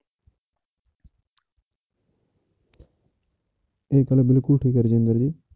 ਇਹ ਕਹਿਣਾ ਬਿਲਕੁਲ ਠੀਕ ਹੈ ਰਜਿੰਦਰ ਜੀ।